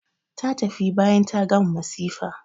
Ta tafi bayan ta gama masifa.